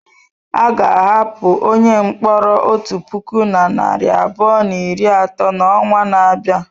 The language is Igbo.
A ga-ahapụ onye mkpọrọ otu puku na narị abụọ na iri atọ n'ọnwa na-abịa.